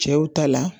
Cɛw ta la